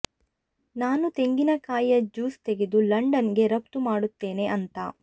ನಾನು ತೆಂಗಿನ ಕಾಯಿಯ ಜ್ಯೂಸ್ ತೆಗೆದು ಲಂಡನ್ ಗೆ ರಫ್ತು ಮಾಡುತ್ತೇನೆ ಅಂತ